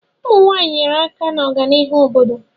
Ụmụ nwanyị nyere aka na ọganihu obodo